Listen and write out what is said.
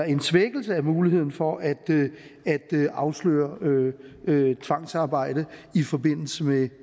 en svækkelse af muligheden for at afsløre tvangsarbejde i forbindelse med